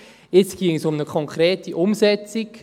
Jetzt geht es um die konkrete Umsetzung.